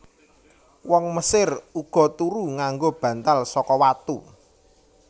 Wong Mesir uga turu nganggo bantal saka watu